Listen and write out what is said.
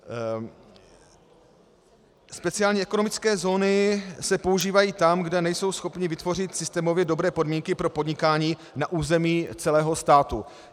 Speciálně ekonomické zóny se používají tam, kde nejsou schopni vytvořit systémově dobré podmínky pro podnikání na území celého státu.